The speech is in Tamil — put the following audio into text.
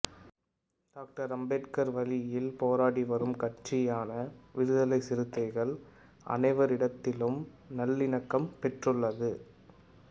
டாக்டர் அம்பேத்கார் வழியில் போராடி வரும் கட்சியான விடுதலை சிறுத்தைகள் அனைவரிடத்திலும் நல்லிணக்கம் பெற்றுள்ளது